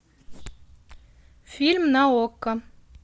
фильм на окко